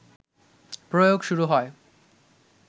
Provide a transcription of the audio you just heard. প্রয়োগ শুরু হয়